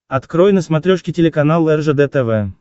открой на смотрешке телеканал ржд тв